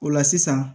O la sisan